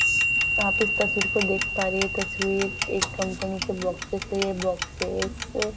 यहाँ पे इस तस्वीर को देख पा रहे हैं तस्वीर एक कंपनी के बोक्सेस ये बोक्सेस --